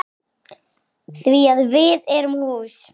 Því að við erum hús.